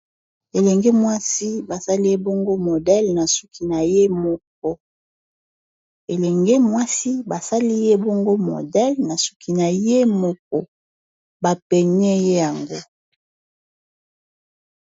Elenge mwasi basali ye bongo modele na suki na ye moko ba paigné ye yango.